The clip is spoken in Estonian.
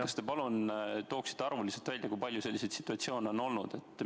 Kas te palun tooksite arvuliselt välja, kui palju selliseid situatsioone on olnud?